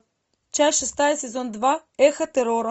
часть шестая сезон два эхо террора